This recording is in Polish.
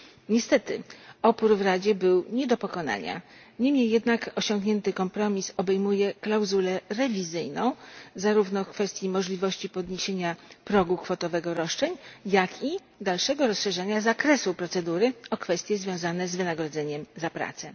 Niestety opór w Radzie był nie do pokonania, niemniej jednak osiągnięty kompromis obejmuje klauzulę rewizyjną, zarówno w kwestii możliwości podniesienia progu kwotowego roszczeń, jak i dalszego rozszerzania zakresu procedury o kwestie związane z wynagrodzeniem za pracę.